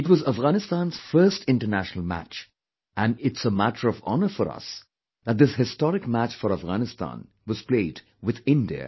It was Afghanistan's first international match and it's a matter of honour for us that this historic match for Afghanistan was played with India